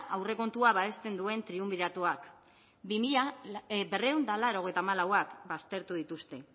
aurrekontua babesten duen triunbiratoak berrehun eta laurogeita hamalauak baztertu dituzte